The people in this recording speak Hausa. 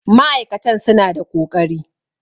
ma'aikatan suna da ƙoƙari